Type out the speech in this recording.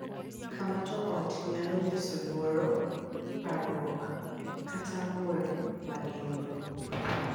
Kama jo ot nyalo nyiso luoro, parruok, kata ng’ur ma gin-go